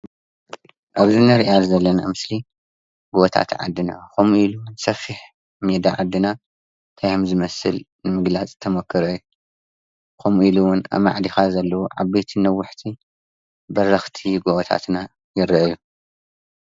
ኣብዚ ንሪኣ ዘለና ምስሊ ጎቦታት ዓድና ከም ኢሉ ዉን ሰፊሕ ሜዳ ዓድና ታይ ከምዝመስል ንምግላፅ ዝተሞከረ እዩ፡፡ ከምኡ ኢሉ እውን ኣማዕዲኻ ዘለዉ ዓበይቲ ነዋሕቲ በረኽቲ ጎቦታትና ይርአዩ፡፡